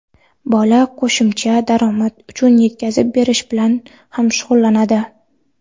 bola qo‘shimcha daromad uchun yetkazib berish bilan ham shug‘ullanadi.